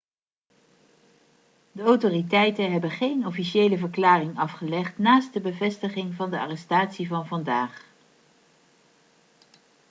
de autoriteiten hebben geen officiële verklaring afgelegd naast de bevestiging van de arrestatie van vandaag